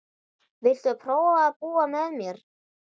Viltu prófa að búa með mér.